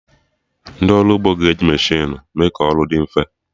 Ndị ọrụ ugbo ga-eji mechinu mee ka ọrụ dị mfe